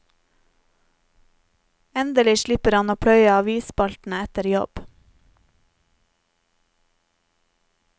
Endelig slipper han å pløye avisspaltene etter jobb.